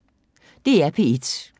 DR P1